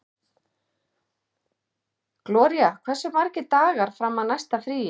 Gloría, hversu margir dagar fram að næsta fríi?